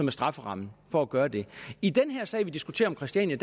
er strafferammen for at gøre det i den her sag vi diskuterer om christiania